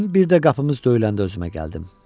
Mən bir də qapımız döyüləndə özümə gəldim.